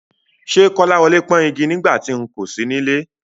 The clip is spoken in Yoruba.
Ṣé Kọ́láwọlé pọ́n igi nígbà tí n kò sí nílé?